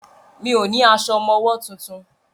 Mi ò ní aṣọ ọmọwọ́ tuntun.